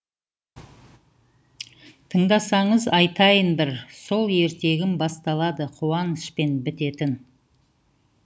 тыңдасаңыз айтайын бір сол ертегім басталады қуанышпен бітетін